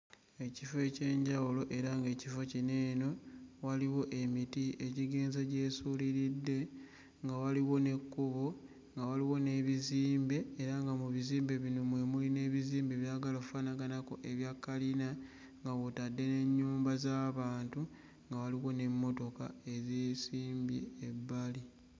Ekifo eky'enjawulo era ng'ekifo kino eno waliwo emiti egigenze gyesuuliridde nga waliwo n'ekkubo nga waliwo n'ebizimbe era nga mu bizimbe bino mwe muli n'ebizimbe ebyagala offaanaganako ebya kkalina nga mw'otadde n'ennyumba z'abantu nga waliwo n'emmotoka eyeesimbye ebbali.